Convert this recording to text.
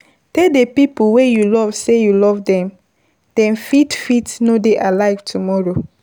Tell di people wey you love sey you love dem, dem fit no dey alive tomorrow